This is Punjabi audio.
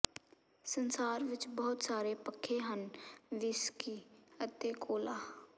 ਸੰਸਾਰ ਵਿੱਚ ਬਹੁਤ ਸਾਰੇ ਪੱਖੇ ਹਨ ਵਿਸਕੀ ਅਤੇ ਕੋਲਾ